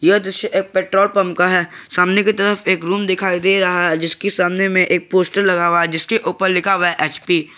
यह दृश्य एक पेट्रोल पंप का है सामने की तरफ एक रूम दिखाई दे रहा है जिसकी सामने में एक पोस्टर लगा हुआ है जिसके ऊपर लिखा हुआ है एच_पी ।